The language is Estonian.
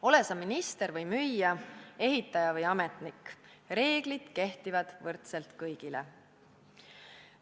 Ole sa minister või müüja, ehitaja või ametnik – reeglid kehtivad võrdselt kõigile.